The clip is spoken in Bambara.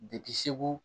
Depi segu